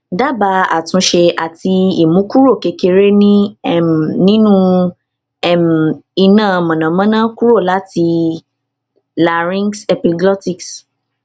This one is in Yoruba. dabaa atunse ati imu kuro kekere ni um ninu um ina monamona kuro lati larynxepiglotis um